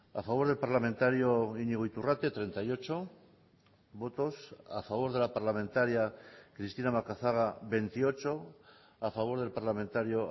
a favor del parlamentario iñigo iturrate treinta y ocho votos a favor de la parlamentaria cristina macazaga veintiocho a favor del parlamentario